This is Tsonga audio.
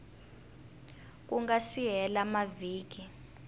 ku nga si hela mavhiki